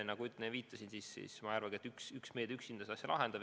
Nagu ma viitasin, ma ei arvagi, et üks meede üksinda selle probleemi lahendab.